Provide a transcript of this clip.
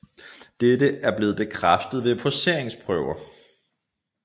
Dette er blevet bekræftet ved forceringsprøver